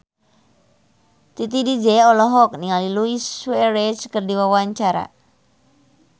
Titi DJ olohok ningali Luis Suarez keur diwawancara